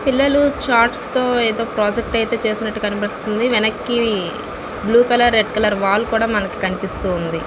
పిల్లలు ఛార్ట్స్ తో ఏదో ప్రాజెక్ట్ చేసినట్టు కనిపిస్తుంది. వెనక్కి blue colour red colour wall కూడా మనకి కనిపిస్తూ ఉంది.